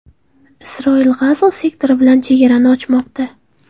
Isroil G‘azo sektori bilan chegarani ochmoqda.